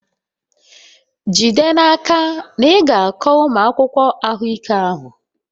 Jide n'aka na ị ga-akọ ụmụ akwụkwọ ahụike ahụ!